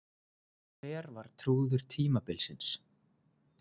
Hver var trúður tímabilsins?